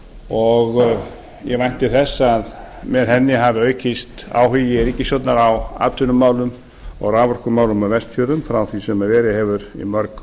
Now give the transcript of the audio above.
og ég vænti þess að með henni hafi aukist áhugi ríkisstjórnar á atvinnumálum og raforkumálum á vestfjörðum frá því sem verið hefur mörg